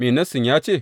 Me Nassin ya ce?